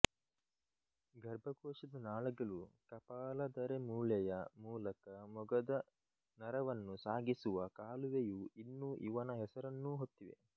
ಗರ್ಭಕೋಶದ ನಾಳಗಳೂ ಕಪಾಲದರೆಮೂಳೆಯ ಮೂಲಕ ಮೊಗದ ನರವನ್ನು ಸಾಗಿಸುವ ಕಾಲುವೆಯೂ ಇನ್ನೂ ಇವನ ಹೆಸರನ್ನೂ ಹೊತ್ತಿವೆ